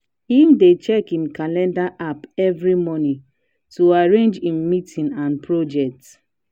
him dey check him calender app every morning to arrange him meetings and project.